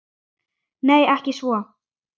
Nei, ekki svo